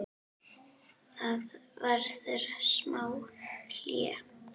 Það verður smá hlé.